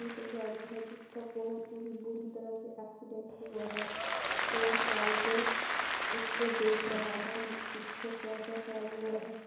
एक गाड़ी है जिसका बहुत ही बुरी तरह से एक्सीडेंट हुआ है और कारीगर इसको देख रहा है इसका क्या क्या खराब हुआ है।